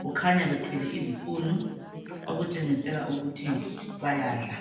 Kukhanya bethwele izipunu okutshengisela ukuthi bayadla.